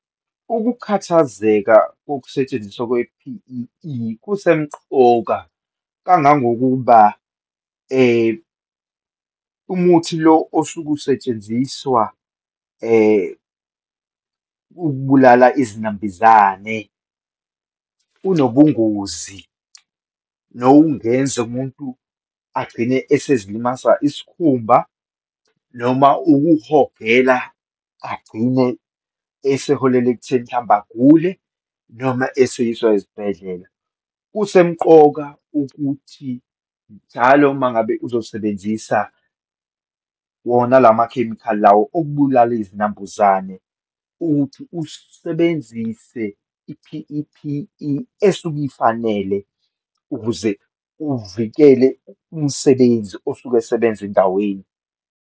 Ukukhathazeka kokusetshenziswa kwe-P_E_E, kusemqoka kangangokuba umuthi lo osuke usetshenziswa ukubulala izinambizane, unobungozi nokungenza umuntu agcine esezilimasa isikhumba, noma ukuhogela, agcine eseholela ekutheni, mhlawumbe agule noma eseyiswa esibhedlela. Kusemqoka ukuthi njalo uma ngabe uzosebenzisa wona lamakhemikhali lawo okubulala izinambuzane, ukuthi usebenzise i-P_E_P_E esuke ifanele ukuze uvikele umsebenzi osuke esebenza endaweni.